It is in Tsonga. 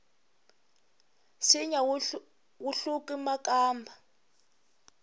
nsinya wu hluku makamba